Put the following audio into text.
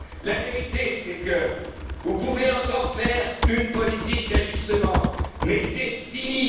Grèce! La vérité, c'est que vous pouvez encore faire une politique d'ajustement, mais c'est